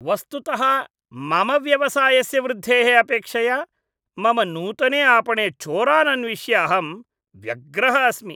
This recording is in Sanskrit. वस्तुतः मम व्यवसायस्य वृद्धेः अपेक्षया, मम नूतने आपणे चोरान् अन्विष्य अहं व्यग्रः अस्मि।